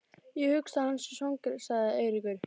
Ég hugsa að hann sé svangur sagði Eiríkur.